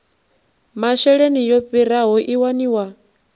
masheleni yo raliho i waniwa